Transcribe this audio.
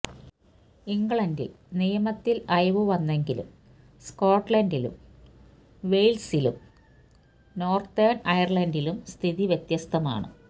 ഇംഗ്ലണ്ടില് നിയമത്തില് അയവ് വന്നെങ്കിലും സ്കോട്ട്ലന്ഡിലും വെയ്ല്സിലും നോര്ത്തേണ് അയര്ലന്ഡിലും സ്ഥിതി വ്യത്യസ്തമാണ്